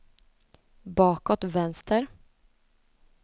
bakåt vänster